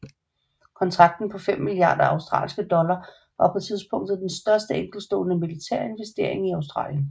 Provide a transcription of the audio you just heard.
Kontrakten på fem milliarder australske dollar var på tidspunktet den største enkeltstående militære investering i Australien